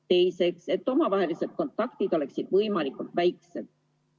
Teiseks, et omavahelised kontaktid oleksid võimalikult väiksed.